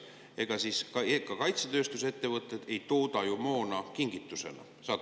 Ega kaitsetööstusettevõtted ei tooda ju moona kingitusena!